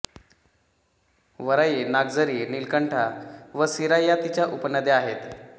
वराई नागझरी नीलकंठा व सीरा या तिच्या उपनद्या आहेत